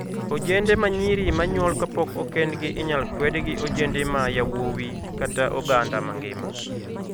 Ojende ma nyiri manyuol kapok okendgi inyal kwedi gi ojende ma yawuowi kata oganda mangima.